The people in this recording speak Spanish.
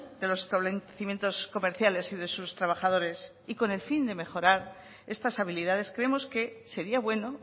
de los establecimientos comerciales y de sus trabajadores y con el fin de mejorar estas habilidades creemos que sería bueno